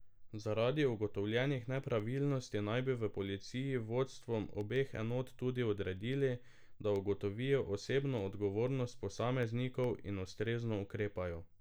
Zaradi ugotovljenih nepravilnosti naj bi v policiji vodstvom obeh enot tudi odredili, da ugotovijo osebno odgovornost posameznikov in ustrezno ukrepajo.